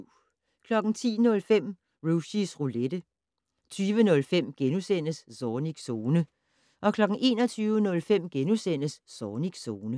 10:05: Rushys Roulette 20:05: Zornigs Zone * 21:05: Zornigs Zone *